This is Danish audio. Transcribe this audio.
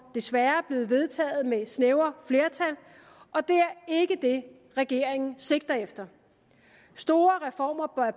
desværre blevet vedtaget med snævre flertal og det er ikke det regeringen sigter efter store reformer